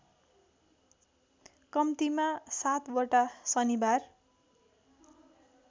कम्तिमा सातवटा शनिबार